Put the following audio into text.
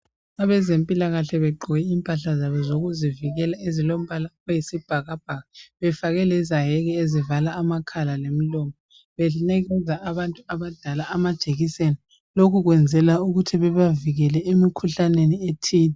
Abezempilakahle begqoke impahla zabo zokuzivikela ezilombala oyisibhakabhaka . Befake lezaheki ezivala amakhala lemilomo . Benikeza abantu abadala amajekiseni. Lokhu kuyenzelwa ukuthi bebavikele emikhuhlaneni ethile.